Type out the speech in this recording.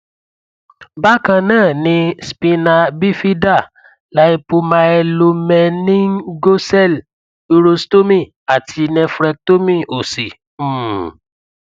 bákan náà ni spina bifida lypomyelomeningocele urostomy àti nephrectomy òsì um